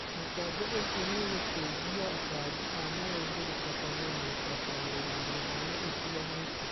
Mũtambo ũcio nĩũgũteithia abangi a maũndũ gũtabania na gũtabarĩra mĩhang'o ĩtiganĩte